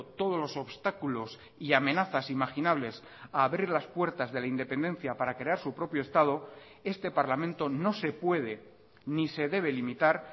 todos los obstáculos y amenazas imaginables a abrir las puertas de la independencia para crear su propio estado este parlamento no se puede ni se debe limitar